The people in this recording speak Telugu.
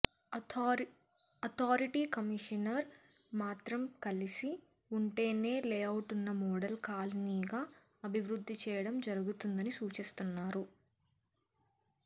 అథారిటీ కమిషనర్ మాత్రం కలిసి ఉంటేనే లేఅవుట్ను మోడల్ కాలనీగా అభివృద్ధి చేయడం జరుగు తుందని సూచిస్తున్నారు